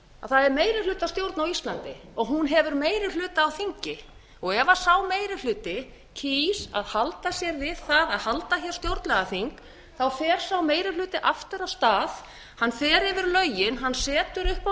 að það er meirihlutastjórn á íslandi hún hefur meirihluta á þingi ef sá meiri hluti kýs að halda sér við fara á halda hér stjórnlagaþing fer sá meiri hluti aftur af stað hann fer yfir lögin hann setur upp á